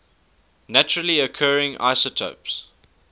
naturally occurring isotopes